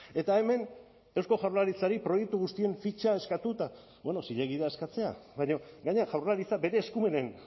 eta hemen eusko jaurlaritzari proiektu guztien fitxa eskatu eta bueno zilegi da eskatzea baina gainera jaurlaritzak bere eskumenen